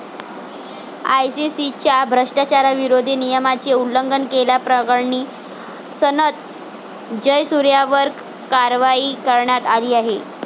आयसीसीच्या भ्रष्टाचारविरोधी नियमाचे उल्लंघन केल्याप्रकरणी सनथ जयसूर्यावर कारवाई करण्यात आली आहे.